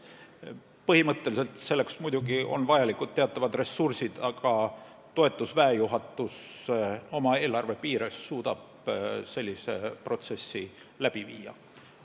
Põhimõtteliselt on selleks muidugi vajalikud teatavad ressursid, aga toetuse väejuhatus oma eelarve piires suudab sellise protsessi läbi viia.